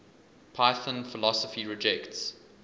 python philosophy rejects